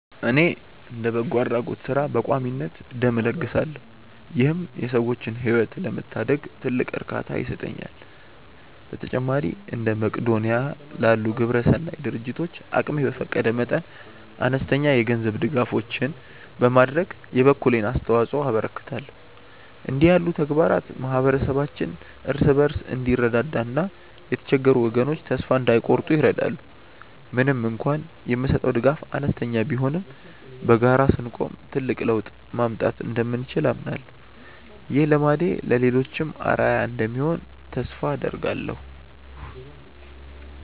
እኔ እንደ በጎ አድራጎት ሥራ በቋሚነት ደም እለግሳለሁ ይህም የሰዎችን ሕይወት ለመታደግ ትልቅ እርካታ ይሰጠኛል። በተጨማሪም እንደ መቅዶንያ ላሉ ግብረሰናይ ድርጅቶች አቅሜ በፈቀደ መጠን አነስተኛ የገንዘብ ድጋፎችን በማድረግ የበኩሌን አስተዋጽኦ አበረክታለሁ። እንዲህ ያሉ ተግባራት ማኅበረሰባችን እርስ በርሱ እንዲረዳዳና የተቸገሩ ወገኖች ተስፋ እንዳይቆርጡ ይረዳሉ። ምንም እንኳን የምሰጠው ድጋፍ አነስተኛ ቢሆንም በጋራ ስንቆም ትልቅ ለውጥ ማምጣት እንደምንችል አምናለሁ። ይህ ልማዴ ለሌሎችም አርአያ እንደሚሆን ተስፋ አደርጋለሁ።